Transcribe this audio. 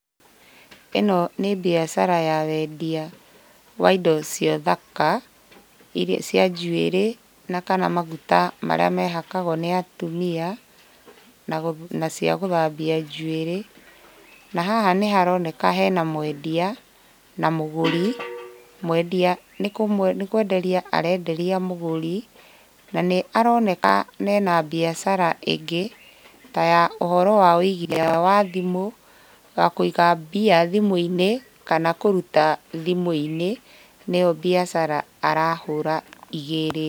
Ĩno nĩ mbiacara ya wendia wa indo cia ũthaka, iria cia njuĩrĩ na kana maguta marĩa mehakagũo nĩ atumia, na cia gũthambia njuĩrĩ. Na haha nĩharoneka hena mwendia na mũgũri. Mwendia nĩ kwenderia arenderia mũgũri, na nĩaroneka ena mbiacara ĩngĩ ta ya ũhoro wa wĩigithia wa thimũ ya kũiga mbia thimũ-inĩ kana kũruta thimũ-inĩ, nĩyo mbiacara arahũra igĩrĩ.